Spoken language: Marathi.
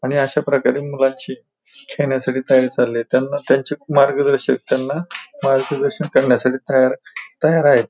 आणि अशा प्रकारे मुलांची खेळण्यासाठी तयारी चालली त्यांना त्यांचेच मार्गदर्शक त्यांना मार्गदर्शन करण्यासाठी तयार तयार आहेत.